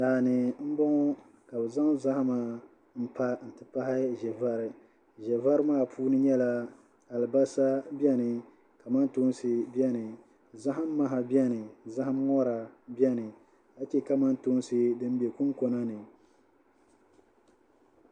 Daa ni m-bɔŋɔ ka bɛ zaŋ zahima pa nti pahi ʒevari ʒevari maa puuni nyɛla alibasa beni kamantoonsi beni zahim maha beni zahim ŋɔra beni ka che kamantoonsi din be kunkona ni